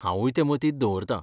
हांवूय ते मतींत दवरतां.